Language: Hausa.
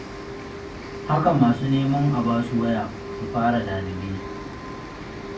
Haka masu neman a ba su waya su fara lalube.